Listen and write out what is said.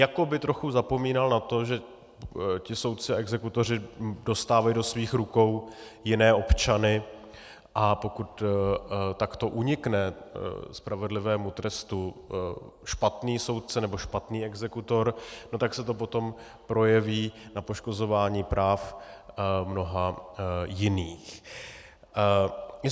Jako by trochu zapomínal na to, že ti soudci a exekutoři dostávají do svých rukou jiné občany, a pokud takto unikne spravedlivému trestu špatný soudce nebo špatný exekutor, tak se to potom projeví na poškozování práv mnoha jiných.